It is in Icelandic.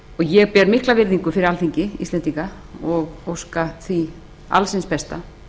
ég ber mikla virðingu fyrir alþingi íslendinga og óska því alls hins besta